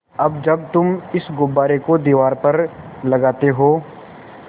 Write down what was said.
अब जब तुम इस गुब्बारे को दीवार पर लगाते हो